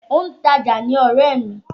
Òǹtajà ni ọ̀rẹ́ mi.